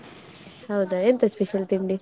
ಹೌದಾ, bgSpeach ಎಂತ special ತಿಂಡಿ?